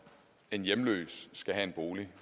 man